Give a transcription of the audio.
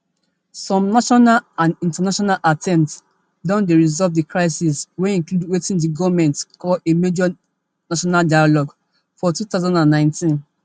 some national and international attempts don dey to resolve di crisis wey include wetin di goment call a major national dialogue for two thousand and nineteen